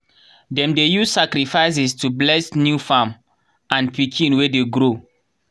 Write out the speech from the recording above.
dem dey use sacrifices to bless new farm and pikin wey dey grow.